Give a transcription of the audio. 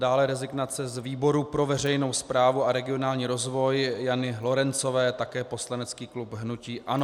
Dále rezignace z výboru pro veřejnou správu a regionální rozvoj Jany Lorencové, také poslanecký klub hnutí ANO.